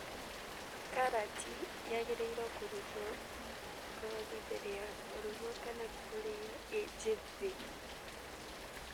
Karati yagĩrĩirwo kũrutwo ngothi mbere ya kũrugwo kana kũrĩo ĩ njĩthĩ